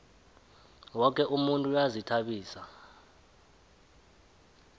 woke umuntu uyazihtabisa